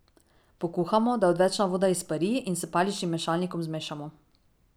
Pokuhamo, da odvečna voda izpari, in s paličnim mešalnikom zmešamo.